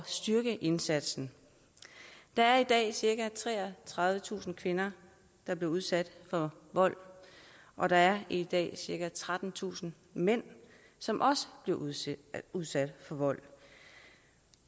styrke indsatsen der er i dag cirka treogtredivetusind kvinder der bliver udsat for vold og der er i dag cirka trettentusind mænd som også bliver udsat udsat for vold